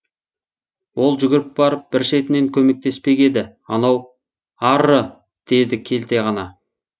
ол жүгіріп барып бір шетінен көмектеспек еді анау арры деді келте ғана